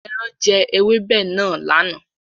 Ẹran jẹ ewébẹ̀ náà lánàá.